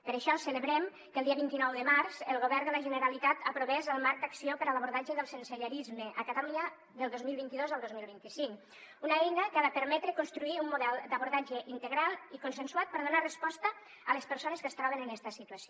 per això celebrem que el dia vint nou de març el govern de la generalitat aprovés el marc d’acció per a l’abordatge del sensellarisme a catalunya del dos mil vint dos al dos mil vint cinc una eina que ha de permetre construir un model d’abordatge integral i consensuat per donar resposta a les persones que es troben en esta situació